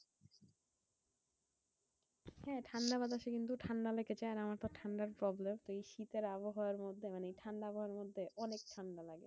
হ্যাঁ ঠান্ডা বাতাসে কিন্তু ঠান্ডা লেগে যায়। আর আমার তো ঠান্ডার problem. এই শীতের আবহাওয়ার মধ্যে মানে ঠান্ডা আবহাওয়ার মধ্যে অনেক ঠান্ডা লাগে।